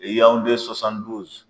O ye yawunde sosani duzi